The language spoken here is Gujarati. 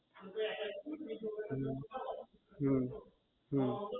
હમ અમ